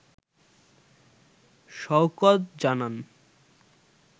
শওকত জানান